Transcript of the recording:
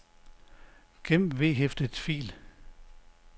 gem vedhæftet fil